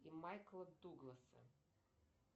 и майкла дугласа